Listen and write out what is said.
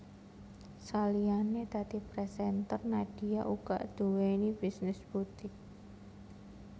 Saliyané dadi presenter Nadia uga nduweni bisnis butik